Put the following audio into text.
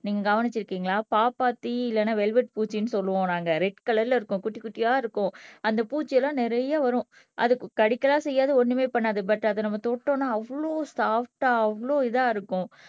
நீங்க கவனிச்சிருக்கீங்களா பாப்பாத்தி இல்லைன்னா வெல்வெட் பூச்சின்னு சொல்லுவோம் நாங்க ரெட் கலர்ல இருக்கும் குட்டி குட்டியா இருக்கும் அந்த பூச்சி எல்லாம் நிறைய வரும் அதுக்கு கடிக்க எல்லாம் செய்யாது ஒண்ணுமே பண்ணாது பட் அதை நம்ம தொட்டோம்னா அவ்வளவு ஸாஃப்டா அவ்வளவு இதா இருக்கும்